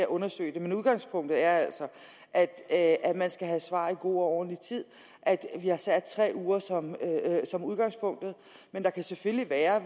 undersøge det men udgangspunktet er altså at at man skal have svar i god og ordentlig tid vi har sat tre uger som udgangspunktet men der kan selvfølgelig være